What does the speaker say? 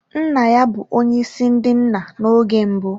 Nna ya bụ onye isi ndị nna na oge mbụ.